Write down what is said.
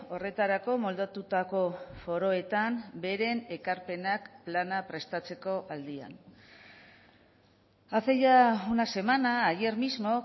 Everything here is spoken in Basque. horretarako moldatutako foroetan beren ekarpenak plana prestatzeko aldian hace ya una semana ayer mismo